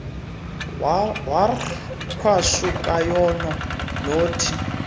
wornqwashu kayako nothi